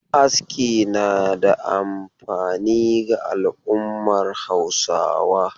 Aski na da amfani ga al'ummar Hausawa.